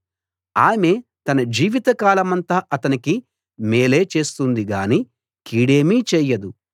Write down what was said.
ఆమె తన జీవిత కాలమంతా అతనికి మేలే చేస్తుంది గాని కీడేమీ చేయదు